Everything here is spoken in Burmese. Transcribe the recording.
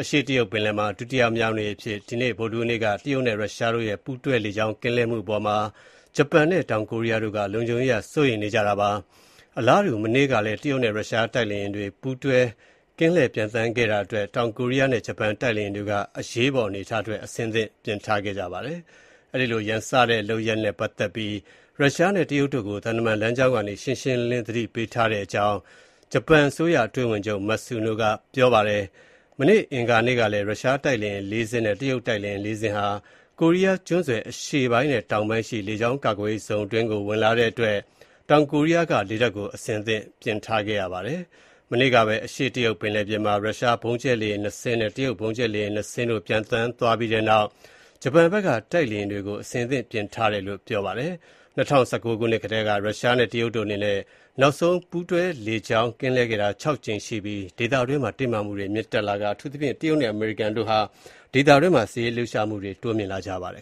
အရှေ့ တရုတ်ပင်လယ်မှာ ဒုတိယမြောက်နေ့အဖြစ် ဒီကနေ့ မတ်လ ၇ ရက်နေ့ တရုတ်နဲ့ ရုရှားတို့ရဲ့ ပူးတွဲ လေကြောင်း ကင်းလှည့်မှု အပေါ်မှာ ဂျပန်နဲ့ တောကိုရီးယားတို့က လုံခြုံရေးအရ စိုးရိမ်မှုနေကြပါတယ်။ အလားတူ မနေ့ကလည်း တရုတ်နဲ့ ရုရှား တိုက်လေယာဉ်တွေ ပူးတွဲ ကင်းလှည့်ပျံသန်းလာတဲ့အတွက် တောင်ကိုရီးယားနဲ့ ဂျပန် တိုက်လေယာဉ်တွေက အရေးပေါ် အနေအထားအတွက် အဆင်သင့်ပြင်ထားခဲ့ပါတယ်။ အဲဒီလို ရန်စတဲ့လုပ်ရပ်နဲ့ ပတ်သက်ပြီး ရုရှား နဲ့ တရုတ်တို့ကို သံတမန်လမ်းကြောင်းကနေ ရှင်းရှင်းလင်းလင်း သတိပေးထားတဲ့အကြောင်း ဂျပန်အစိုးရ အတွင်းဝန်ချုပ် Matsuno က ပြောပါတယ်။ မနေ့ အင်္ဂါနေ့ကလည်း ရုရှားတိုက်လေယာဉ် ၄ စင်းနဲ့ တရုတ် တိုက်လေယာဉ် ၄ စင်းဟာ ကိုးရီးယားကျွန်းဆွယ် အရှေ့ပိုင်းနဲ့ တောင်ပိုင်းရှိ လေကြောင်းကာကွယ်ရေးဇုံအတွင်းကို ဝင်လာတဲ့အတွက် တောင်ကိုရီးယားက လေတပ်ကို အဆင့်သင့် ပြင်ထားခဲ့ရပါတယ်။ မနေ့ကပဲ အရှေ့တရုတ်ပင်လယ်ပြင်မှာ ရုရှားဗုံးကြဲလေယာဉ် ၂ စင်း နဲ့ တရုတ် ဗုံးကြဲလေယာဉ် ၂ စင်းတို့ ပျံသန်းသွားပြီးနောက် ဂျပန်ဖက်က တိုက်လေယာဉ်တွေကို အဆင်သင့်ပြင်ထားတယ်လို့ ပြောပါတယ်။ ၂ဝ၁၉ ခုနှစ်ကတည်းက ရုရှား နဲ့ တရုတ်တို့အနေနဲ့ နောက်ဆုံး ပူးတွဲလေကြောင်း ကင်းလှည့်ခဲ့တာဟာ ၆ ကြိမ်ရှိပြီး ဒေသတွင်းမှာ တင်းမာမှုတွေ မြင့်တက်လာပြီး အထူးသဖြင့် တရုတ်နဲ့ အမေရိကန်တို့ဟာ ဒေသတွင်းမှာ စစ်ရေးလှုပ်ရှားမှုတွေ တိုးမြှင့်လာကြပါတယ်